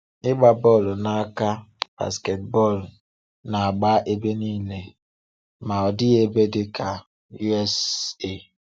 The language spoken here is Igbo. Ịgba bọ́lụ̀ n’aka (basketball) na-agbá ebe niile, ma ọ dịghị ebe dị ka Ụ̀.S.Á.”